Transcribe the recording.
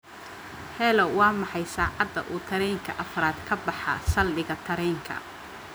hello waa maxay saacada uu tareenka afraad ka baxaa saldhiga tareenka